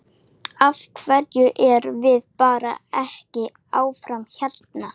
Af hverju erum við bara ekki áfram hérna?